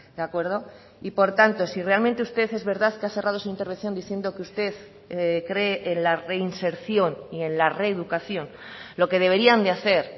de acuerdo y por tanto si realmente usted es verdad que ha cerrado su intervención diciendo que usted cree en la reinserción y en la reeducación lo que deberían de hacer